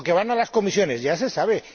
Cappato. O que van a las comisiones, ya